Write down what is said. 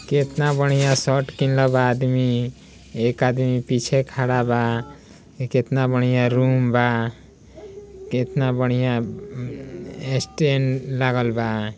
केतना बढ़िया शर्ट पीहने बा आदमी। एक आदमी पीछे खड़ा बा। हई केतना बढ़िया रूम बा! केतना बढ़िया अ-अ-अ स्टैंड लागल बा।